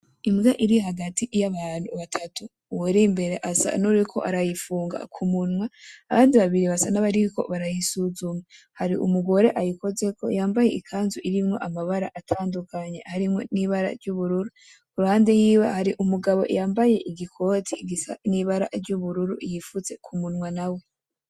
Imbwa iri hagati y'abantu batatu. Uwuri imbere asa nuwuriko arayifunga kumunwa, abandi babiri basa nabariko barayisuzuma. Hari umugore ayikozeko yambaye ikanzu irimwo amabara atandukanye iruhande yiwe hari umugabo yambaye igikoti gisa nibara ry'ubururu yifutse kumunwa nawe.